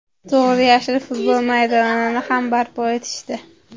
To‘g‘ri, yashil futbol maydonini ham barpo etishdi.